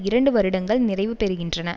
இரண்டு வருடங்கள் நிறைவு பெறுகின்றன